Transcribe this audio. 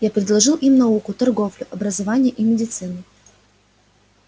я предложил им науку торговлю образование и медицину